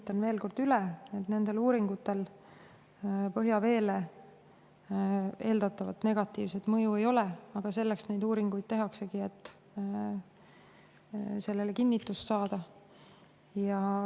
Kinnitan veel kord, et nendel uuringutel põhjaveele eeldatavat negatiivset mõju ei ole, aga selleks neid uuringuid tehaksegi, et sellele kinnitust saada.